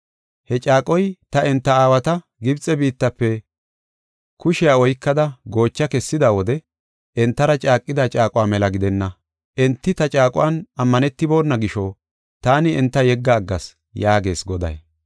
He caaqoy ta enta aawata Gibxe biittafe kushiya oykada, goocha kessida wode entara caaqida caaquwa mela gidenna. Enti ta caaquwan ammanetibona gisho, taani enta yegga aggas yaagees Goday.